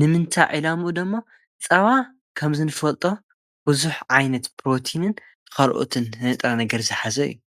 ንምንታይ ዒላምኡ ድሞ ፀባ ከም ዘንፈልጦ ብዙሕ ዓይነት ፕሮቴንን ካልኦትን ንጥረ ነገር ዝሓዘ እዩ።